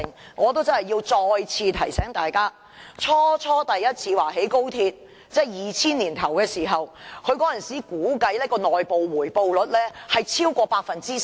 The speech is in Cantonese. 但我真的要再次提醒大家，政府在2000年年初首次表示要興建高鐵時，當時估計的內部回報率為超過 10%。